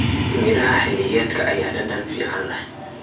Miraha xilliyeedka ayaa dhadhan fiican leh.